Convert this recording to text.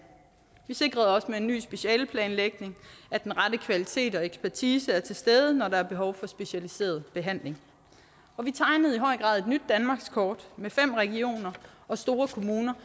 vi sikrede også med en ny specialeplanlægning at den rette kvalitet og ekspertise er til stede når der er behov for specialiseret behandling og vi tegnede i høj grad et nyt danmarkskort med fem regioner og store kommuner